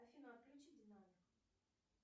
афина отключи динамик